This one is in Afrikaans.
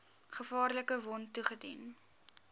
gevaarlike wond toegedien